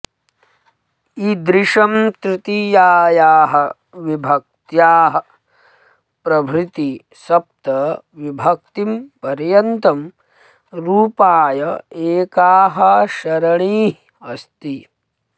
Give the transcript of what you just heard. इदृशं तृतीयायाः विभक्त्याः प्रभृति सप्त विभक्तिं पर्यन्तं रूपाय एकाः सरणिः अस्ति